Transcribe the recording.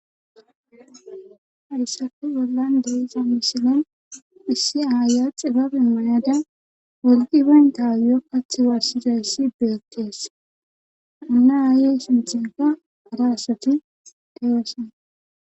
Haysappe bolan deyza misiln issi aya xibabe mayada wolqi banta ayo barsishe dizassi bettes.hino aye sinthenka hara asati deyosona.